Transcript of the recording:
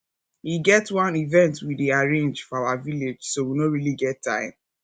e get wan event we dey arrange for our village so we no really get time